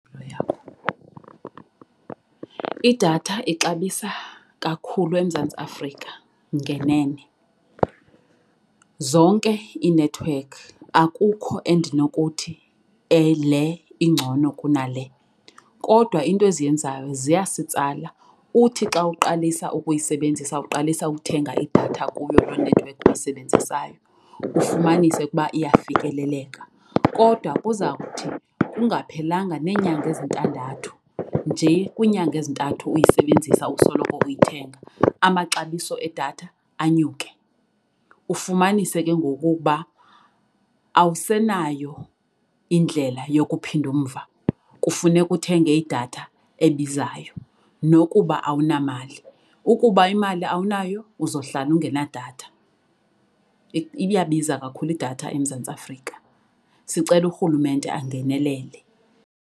Idatha ixabisa kakhulu eMzantsi Afrika ngenene. Zonke iinethiwekhi akukho endinokuthi le ingcono kunale, kodwa into eziyenzayo ziyasitsala uthi xa uqalisa ukuyisebenzisa uqalisa ukuthenga idatha kuyo lo nethiwekhi uyisebenzisayo ufumanise ukuba iyafikeleleka. Kodwa kuza kuthi kungaphelanga neenyanga ezintandathu nje kwiinyanga ezintathu uyisebenzisa usoloko uyithenga, amaxabiso edatha anyuke. Ufumanise ke ngoku ukuba awusenayo indlela yokuphinda umva. Kufuneka uthenge idatha ebizayo nokuba awunamali. Ukuba imali awunayo uzohlala ungenadatha. Iyabiza kakhulu idatha eMzantsi Afrika. Sicela urhulumente angenelele.